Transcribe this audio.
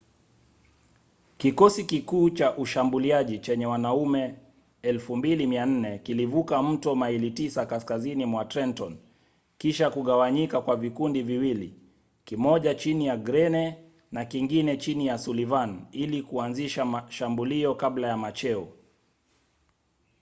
kikosi kikuu cha ushambuliaji chenye wanaume 2,400 kilivuka mto maili tisa kaskazini mwa trenton kisha kugawanyika kwa vikundi viwili kimoja chini ya greene na kingine chini ya sullivan ili kuanzisha shambulio kabla ya macheo